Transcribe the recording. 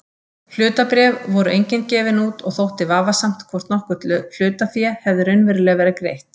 Hlutabréf voru engin gefin út og þótti vafasamt hvort nokkurt hlutafé hefði raunverulega verið greitt.